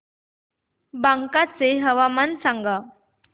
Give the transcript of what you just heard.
बांका चे हवामान सांगा